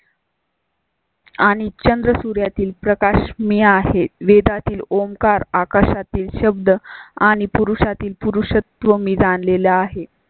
आणि चंद्र सूर्यातील प्रकाश मी आहे. वेदांतील ओंकार, आकाशातील शब्द आणि पुरुषातील पुरुषत्व मी जाणलेले आहे.